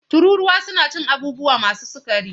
Tururuwa suna cin abubuwa masu sukari.